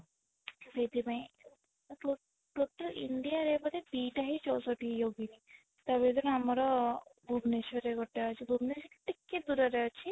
ସେଥି ପାଇଁ total India ବୋଧେ ଦିଟା ହି ଚଉଷଠି ୟୋଗିନୀ ତା ଭିତରେ ଆମର ଭୁବନେଶ୍ୱର ରେ ଗୋଟେ ଅଛି ଭୁବନେଶ୍ୱର ଠୁ ଟିକେ ଦୂରରେ ଅଛି